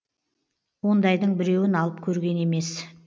ондайдың біреуін алып көрген емес